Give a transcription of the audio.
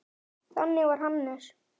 Þannig var Hannes.